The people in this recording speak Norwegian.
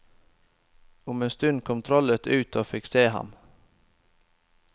Om en stund kom trollet ut og fikk se ham.